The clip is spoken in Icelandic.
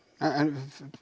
en